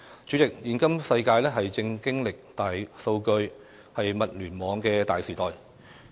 主席，現今世界正經歷大數據、物聯網的大時代。